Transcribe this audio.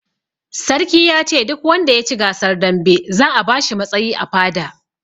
Sarki yace duk wanda yaci gasar dambe za a bashi matsayi a fada